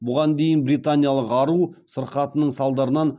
бұған дейін британиялық ару сырқатының салдарынан